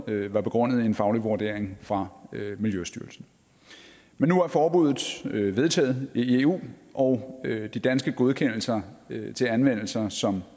var begrundet i en faglig vurdering fra miljøstyrelsen men nu er forbuddet vedtaget i eu og de danske godkendelser til anvendelse som